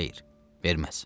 Xeyr, verməz.